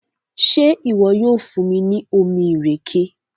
ṣe iwọ yoo fun mi ni omí ìrèké?